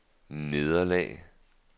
nederlag